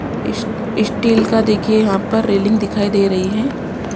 इस स्टील का देखिए यहां पर रेलिंग दिखाई दे रही है।